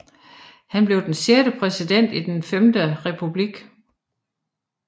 Han var den sjette præsident i Den Femte Republik